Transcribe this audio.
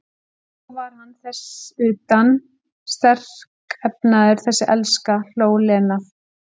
Og svo er hann þess utan sterkefnaður, þessi elska, hló Lena.